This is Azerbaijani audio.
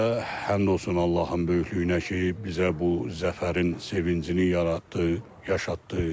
Və həmd olsun Allahın böyüklüyünə ki, bizə bu zəfərin sevincini yaratdı, yaşatdı.